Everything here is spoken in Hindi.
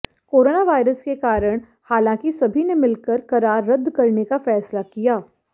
कोरोनावायरस के कारण हालांकि सभी ने मिलकर करार रद्द करने का फैसला किया